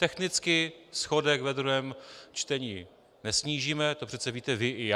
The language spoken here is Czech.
Technicky schodek ve druhém čtení nesnížíme, to přece víte vy i já.